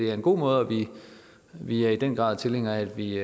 er en god måde og vi er i den grad tilhængere af at vi